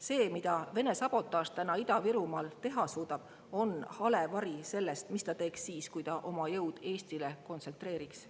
See, mida Vene sabotaaž täna Ida-Virumaal teha suudab, on hale vari sellest, mis ta teeks siis, kui ta oma jõud Eestile kontsentreeriks.